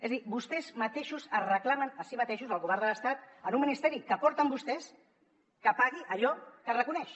és a dir vostès mateixos es reclamen a si mateixos al govern de l’estat en un ministeri que porten vostès que pagui allò que es reconeix